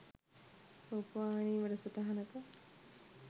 රූපවාහිනී වැඩසටහනක